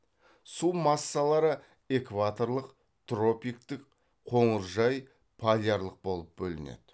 су массалары экваторлық тропиктік қоңыржай полярлық болып бөлінеді